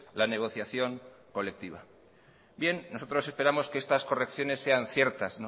la negociación colectiva bien nosotros esperamos que estas correcciones sean ciertas